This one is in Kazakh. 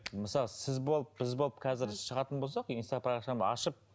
мысалы сіз болып біз болып қазір шығатын болсақ инста парақшамды ашып